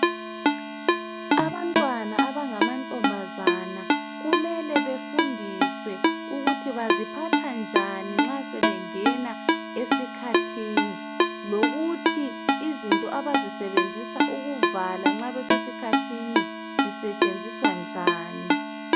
Abantwana abangama ntombazana kumele befundiswe ukuthi baziphathanjani nxa sebengena esikhathini .Lokuthi izinto abazisebenzisa ukuvala nxa beseskhathini zisetshenziswa njani .